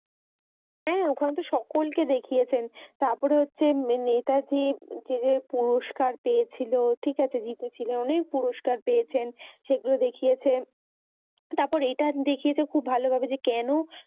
হ্যাঁ। ওখানেতো সকলকে দেখিয়েছে। তারপর হচ্ছে নেতাজী পুরস্কার পেয়েছিল। ঠিক আছে জিতেছিল। অনেক পুরষ্কার পেয়েছেন। সেগুলি দেখিয়েছেন। তারপর এটা দেখিয়েছে খুব ভালভাবে কেন